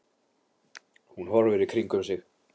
Hún horfir í kringum sig.